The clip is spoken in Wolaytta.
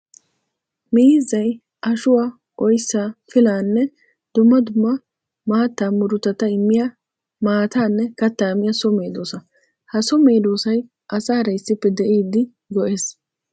Miizzay ashuwaa, oyssa, pilaanne dumma dumma maatta murutatta immiya maatanne katta miya so medosa. Ha so medosay asaara issippe de'iddi go'ees.